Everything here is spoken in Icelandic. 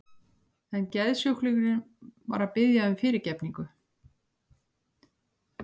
En geðsjúklingurinn var að biðja um fyrirgefningu.